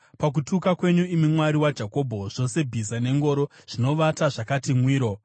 Pakutuka kwenyu, imi Mwari waJakobho, zvose bhiza nengoro zvinovata zvakati mwiro.